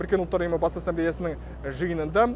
біріккен ұлттар ұйымы бас ассамблеясының жиынында